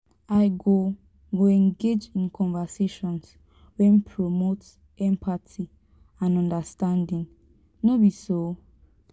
i go go engage in conversations wey promote empathy and understanding no be so?